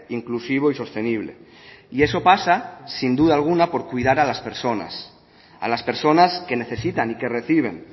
inclusivo y sostenible y eso pasa sin duda alguna por cuidar a las personas a las personas que necesitan y que reciben